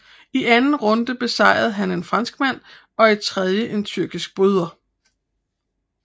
I anden runde besejrede han en franskmand og i tredje en tyrkisk bryder